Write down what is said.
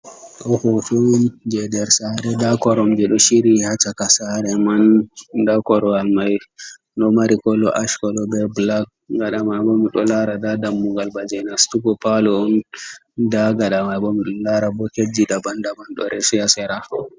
Ɗo ɗum fuu jey nder saare, nda koromje ɗo ciri haa caka saara man, nda korowal may ɗo mari mari kolo ach kolo, be bulak, gaɗa may bo mi ɗo laara nda dammugal ba jey nastugo paalo on, nda gaɗa may bo, mi ɗo laara boketji daban daban ɗo resi haa sera.